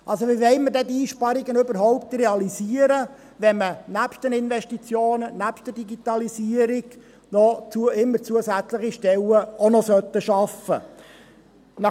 Wie wollen wir diese Einsparungen überhaupt realisieren, wenn man neben den Investitionen in die Digitalisierung immer noch zusätzliche Stellen schaffen soll?